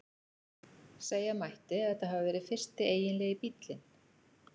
Segja mætti að þetta hafi verið fyrsti eiginlegi bíllinn.